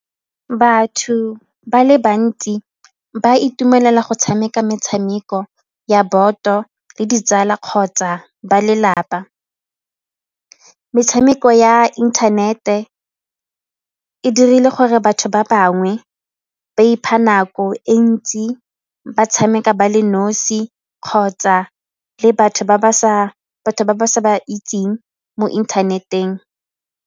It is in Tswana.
Batho ba le bantsi ba itumelela go tshameka metshameko ya boto le ditsala kgotsa ba lelapa. Metshameko ya internet-e e dirile gore batho ba bangwe ba ipha nako e ntsi ba tshameka ba le nosi kgotsa le batho ba ba sa ba itseng mo inthaneteng.